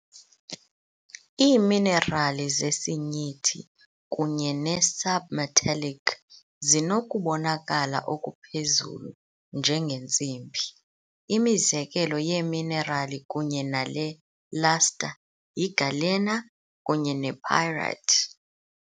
Iiminerali zesinyithi kunye ne-sub-metallic zinokubonakala okuphezulu njengentsimbi, imizekelo yeeminerali kunye nale luster yi-galena kunye ne-pyrite.